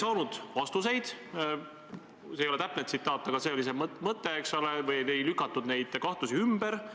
Noh, ma võin tuua näite selle kohta, kuidas Tartus oli üks abilinnapea, keda on loksutatud kohtus – ta on sellest lausa raamatu kirjutanud – ja seda lõppkokkuvõttes 9-eurose arve pärast.